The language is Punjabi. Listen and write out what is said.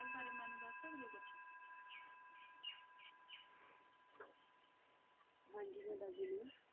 ਹਾਂ ਜੀ ਮੈਂ ਦੱਸਦੇ ਨੇ